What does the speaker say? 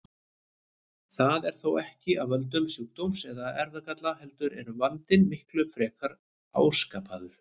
Það er þó ekki af völdum sjúkdóms eða erfðagalla heldur er vandinn miklu frekar áskapaður.